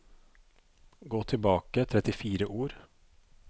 Gå tilbake trettifire ord